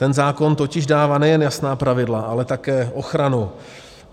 Ten zákon totiž dává nejen jasná pravidla, ale také ochranu.